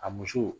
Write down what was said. A muso